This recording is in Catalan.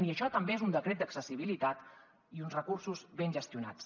i això també és un decret d’accessibilitat i uns recursos ben gestionats